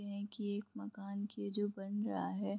हैं की एक मकान की जो बन रहा है।